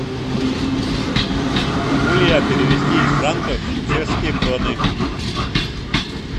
могу ли я перевести из франков в чешские кроны